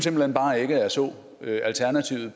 hen bare ikke at jeg så alternativet